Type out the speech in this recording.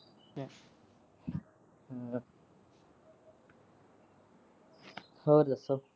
ਹੋਰ ਦਸੋ।